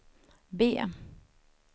B